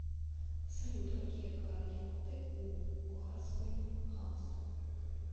салют какие координаты у бухарское ханство